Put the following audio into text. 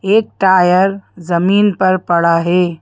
एक टायर जमीन पर पड़ा है।